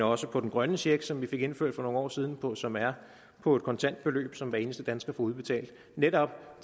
også den grønne check som vi fik indført for nogle år siden og som er på et kontantbeløb som hver eneste dansker får udbetalt netop